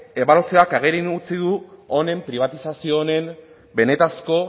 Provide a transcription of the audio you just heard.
ebaluazioak agerian utzi du honen pribatizazio honen benetako